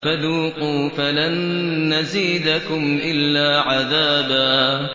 فَذُوقُوا فَلَن نَّزِيدَكُمْ إِلَّا عَذَابًا